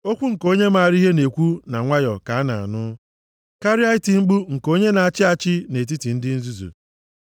Okwu nke onye maara ihe na-ekwu na nwayọọ ka a na-anụ, karịa iti mkpu nke onye na-achị achị nʼetiti ndị nzuzu.